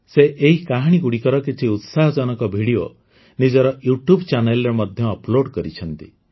ସେ ଏହି କାହାଣୀଗୁଡ଼ିକର କିଛି ଉତ୍ସାହଜନକ ଭିଡ଼ିଓ ନିଜର ୟୁ ଟ୍ୟୁବ ଚ୍ୟାନେଲ ରେ ମଧ୍ୟ ଅପଲୋଡ଼ କରିଛନ୍ତି